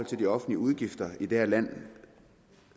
til de offentlige udgifter i det her land